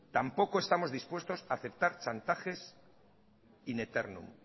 tampoco estamos dispuestos a aceptar chantajes in eternum